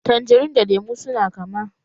Tanjerin da lemu su na kama